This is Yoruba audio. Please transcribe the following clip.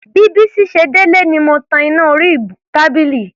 Bí Bísí ṣe délé ni mo tan iná orí tábìlì.